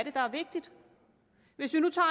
er der er vigtigt hvis vi nu tager